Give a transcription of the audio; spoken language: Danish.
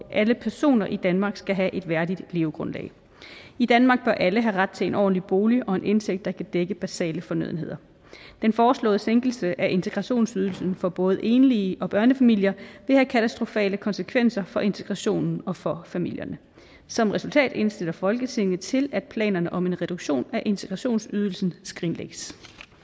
alle personer i danmark skal have et værdigt levegrundlag i danmark bør alle have ret til en ordentlig bolig og en indtægt der kan dække basale fornødenheder den foreslåede sænkelse af integrationsydelsen for både enlige og børnefamilier vil have katastrofale konsekvenser for integrationen og for familierne som resultat indstiller folketinget til at planerne om en reduktion af integrationsydelsen skrinlægges